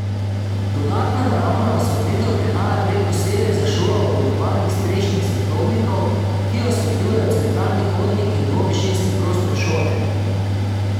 Dodatna naravna osvetlitev prihaja prek posebej za šolo oblikovanih strešnih svetlobnikov, ki osvetljujejo centralni hodnik in dvovišinski prostor šole.